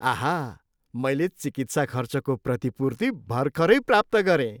आहा! मैले चिकित्सा खर्चको प्रतिपूर्ति भर्खरै प्राप्त गरेँ।